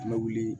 An bɛ wuli